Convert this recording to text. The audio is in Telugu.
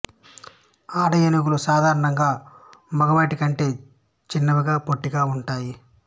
ఆడ ఏనుగులు సాధారణంగా మగవాటి కంటే చిన్నవిగా పొట్టిగా ఉంటాయి